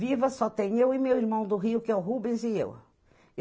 Viva só tem eu e meu irmão do Rio, que é o Rubens, e eu.